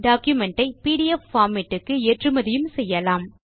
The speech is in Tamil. டாக்குமென்ட் ஐ பிடிஎஃப் பார்மேட் க்கு ஏற்றுமதியும் செய்யலாம்